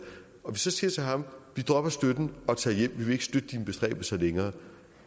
og så siger til ham vi dropper støtten og tager hjem vi vil ikke støtte dine bestræbelser længere